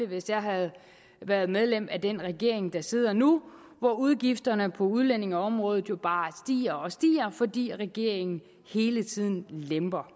hvis jeg havde været medlem af den regering der sidder nu hvor udgifterne på udlændingeområdet jo bare stiger og stiger fordi regeringen hele tiden lemper